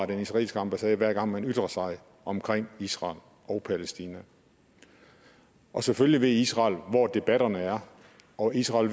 den israelske ambassade hver gang man ytrer sig omkring israel og palæstina selvfølgelig ved israel hvor debatterne er og israel